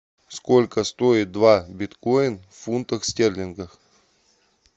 сколько стоит два биткоин в фунтах стерлингах